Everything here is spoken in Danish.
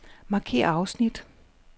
Markér afsnit.